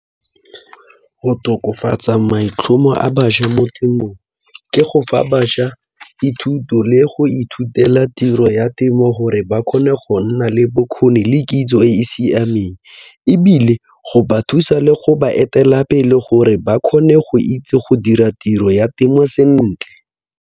Go tokofatsa maitlhomo a bašwa mo temong ke go fa bašwa dithuto le go ithutela tiro ya temo gore ba kgone go nna le bokgoni le kitso e e siameng ebile go ba thusa le go baetelapele gore ba kgone go itse go dira tiro ya temo sentle.